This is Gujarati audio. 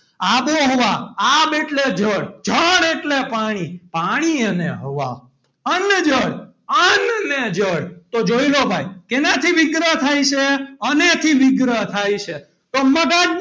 આબોહવા આબ એટલે જળ જળ એટલે પાણી પાણી અને હવા અન્નજળ અન્ન ને જળ તો જોઈ લો ભાઈ શેનાથી વિગ્રહ થાય છે. અને થી વિગ્રહ થાય છે. તો મગજ,